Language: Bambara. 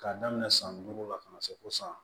K'a daminɛ san duuru la ka na se fo san